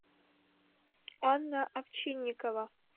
анна овчинникова